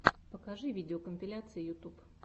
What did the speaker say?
покажи видеокомпиляции ютьюб